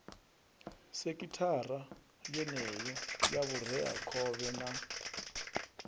sekhithara yeneyo ya vhureakhovhe na